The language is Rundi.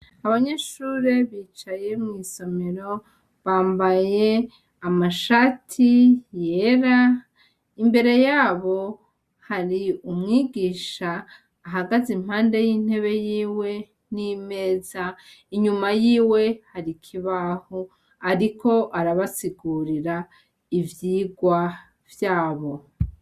Abanyeshure bicaye mw'isomero bambaye amashati yera, imbere yabo hari umwigisha ahagaze impande y'intebe yiwe n'imeza, inyuma yiwe hari ikibaho ariko arabasigurira ivyigwa vyabo.